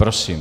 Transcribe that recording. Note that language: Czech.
Prosím.